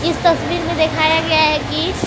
इस तस्वीर में दिखाया गया हैं कि--